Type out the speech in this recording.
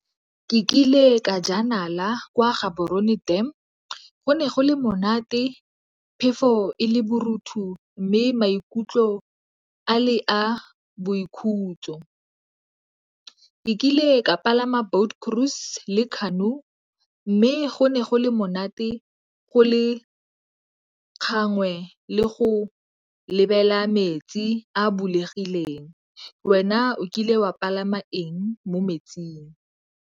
Ke kile ka jela nala kwa Gaborone Dam. Go ne go le monate, phefo e le mme maikutlo a le a boikhutso. Ke kile ka palama boat cruise le canoe mme go ne go le monate, go le gangwe le go lebelela metsi a bulegileng. Wena o kile wa palama eng mo metsing?